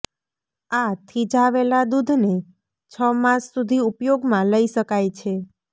આ થીજાવેલા દુધને છ માસ સુધી ઉપયોગમાં લઇ શકાય છે